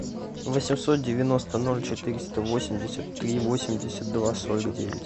восемьсот девяносто ноль четыреста восемьдесят три восемьдесят два сорок девять